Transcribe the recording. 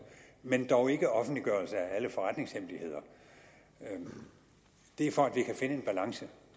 men dog ikke om offentliggørelse af alle forretningshemmeligheder og det er for at vi kan finde en balance